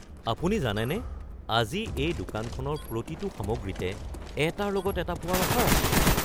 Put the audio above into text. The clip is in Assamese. আপুনি জানেনে আজি এই দোকানখনৰ প্ৰতিটো সামগ্ৰীতে এটাৰ লগত এটা পোৱাৰ অফাৰ আছে?